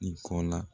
Nin kɔ la